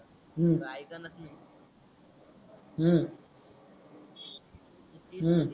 हम्म